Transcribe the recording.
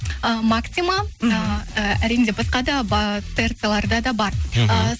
і максима мхм ііі әрине басқа да трц ларда да бар мхм